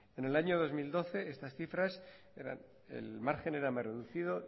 en el año dos mil doce estas cifras eran el margen era más reducido